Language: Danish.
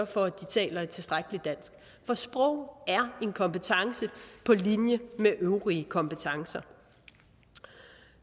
for at de taler et tilstrækkeligt dansk for sprog er en kompetence på linje med øvrige kompetencer